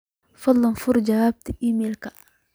fadhlan fur jawaabta iimaylka